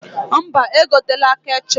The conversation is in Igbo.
Mba, egotena ketchọp